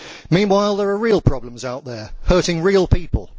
Meanwhile, there are real problems out there hurting real people.